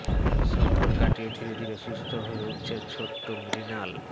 সংকট কাটিয়ে ধীরে ধীরে সুস্থ হয়ে উঠছে ছোট্ট মৃণাল